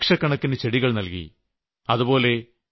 ആ വർഷം ലക്ഷക്കണക്കിന് ചെടികൾ നൽകി